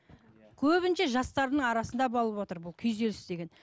көбінде жастардың арасында болыватыр бұл күйзеліс деген